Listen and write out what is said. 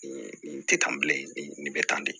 Nin tɛ tan bilen nin bɛ tan de